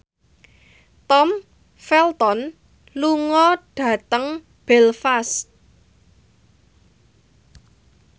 Tom Felton lunga dhateng Belfast